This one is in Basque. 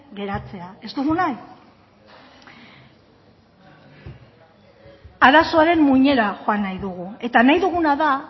geratzea ez dugu nahi arazoaren muinera joan nahi dugu eta nahi duguna da